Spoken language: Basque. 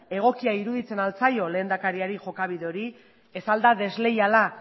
egokia iruditzen al zaio lehendakari jokabide hori ez al da desleiala